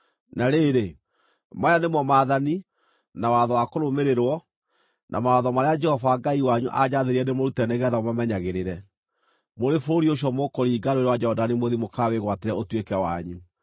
Na rĩrĩ, maya nĩmo maathani, na watho wa kũrũmĩrĩrwo na mawatho marĩa Jehova Ngai wanyu aanjathire ndĩmũrute nĩgeetha mũmamenyagĩrĩre mũrĩ bũrũri ũcio mũkũringa Rũũĩ rwa Jorodani mũthiĩ mũkawĩgwatĩre ũtuĩke wanyu.